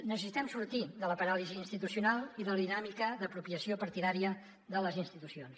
necessitem sortir de la paràlisi institucional i de la dinàmica d’apropiació partidària de les institucions